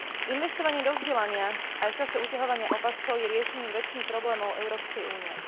Investovanie do vzdelania aj v čase uťahovania opaskov je riešením večných problémov Európskej únie.